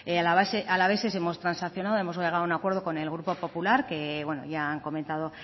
alaveses hemos transaccionado hemos llegado a un acuerdo con el grupo popular que bueno ya han comentado